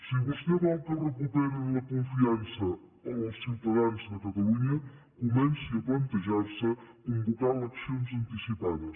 si vostè vol que recuperin la confiança els ciutadans de catalunya comenci a plantejar se convocar eleccions anticipades